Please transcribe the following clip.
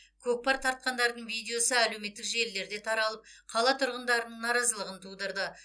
көкпар тартқандардың видеосы әлеуметтік желілерде таралып қала тұрғындарының наразылығын тудырды